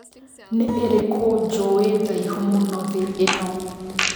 Nĩ ĩrikũ Njũe ndaihu mũno thĩ ĩno